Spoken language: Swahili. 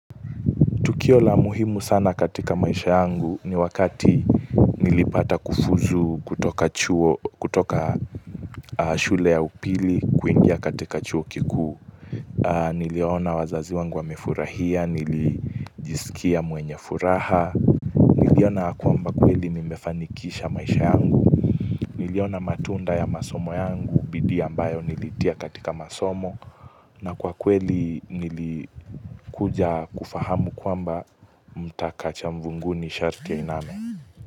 Tukio la muhimu sana katika maisha yangu ni wakati nilipata kufuzu kutoka shule ya upili kuingia katika chuo kikuu. Niliona wazazi wangu wamefurahia, nilijisikia mwenye furaha. Niliona kwamba kweli mimefanikisha maisha yangu. Niliona matunda ya masomo yangu, bidii ambayo nilitia katika masomo. Na kwa kweli nilikuja kufahamu kwamba mtaka cha mvunguni sharti ainame.